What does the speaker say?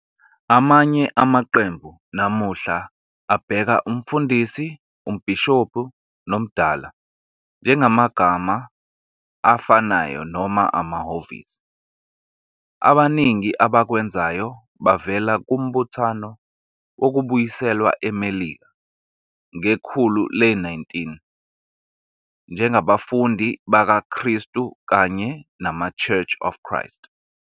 Amanye amaqembu namuhla abheka "umfundisi", "umbhishobhi", "nomdala" njengamagama afanayo noma amahhovisi, abaningi abakwenzayo bavela kuMbuthano Wokubuyiselwa eMelika ngekhulu le-19, njengabaFundi bakaKristu kanye namaChurch of Christ.